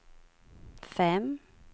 fem